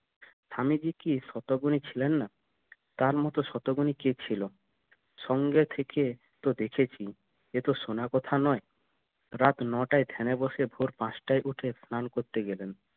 স্বামীজি কি শতগুনী ছিলেন না? তার মত শতগুনী কে ছিল সঙ্গে থেকে তো দেখেছি এত শোনা কথা নয় রাত নয়টায় ধ্যানে বসে ভোর পাঁচটায় উঠে স্নান করতে গেলেন